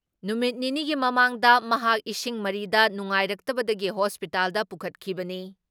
ꯅꯨꯃꯤꯠ ꯅꯤꯅꯤꯒꯤ ꯃꯃꯥꯡꯗ ꯃꯍꯥꯛ ꯏꯁꯤꯡ ꯃꯔꯤꯗ ꯅꯨꯡꯉꯥꯏꯔꯛꯇꯕꯗꯒꯤ ꯍꯣꯁꯄꯤꯇꯥꯜꯗ ꯄꯨꯈꯠꯈꯤꯕꯅꯤ ꯫